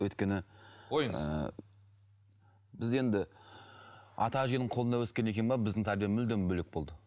өйткені ойыңыз ііі біз енді ата әженің қолында өскеннен кейін бе біздің тәрбие мүлдем бөлек болды